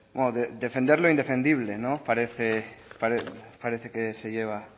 bueno defender lo indefendible parece que se lleva